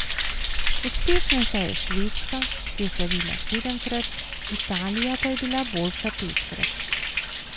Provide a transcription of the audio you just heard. Uspešnejša je Švedska, ki je slavila sedemkrat, Italija pa je bila boljša petkrat.